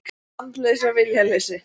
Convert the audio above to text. Andleysi og viljaleysi.